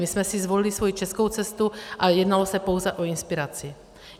My jsme si zvolili svoji českou cestu a jednalo se pouze o inspiraci.